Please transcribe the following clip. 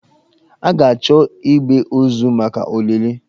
A ga-achọ igbe ozu maka olili.